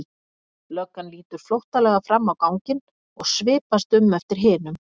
Löggan lítur flóttalega fram á ganginn og svipast um eftir hinum.